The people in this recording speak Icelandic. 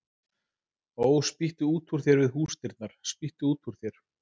Ó, spýttu út úr þér við húsdyrnar, spýttu út úr þér